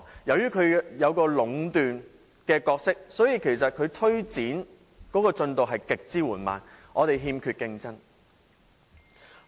由於八達通有壟斷的情況，因此它推展的進度極為緩慢，因為欠缺競爭。